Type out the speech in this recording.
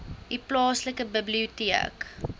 u plaaslike biblioteek